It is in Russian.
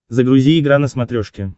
загрузи игра на смотрешке